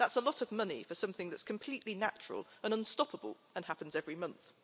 That's a lot of money for something that's completely natural and unstoppable and happens every month.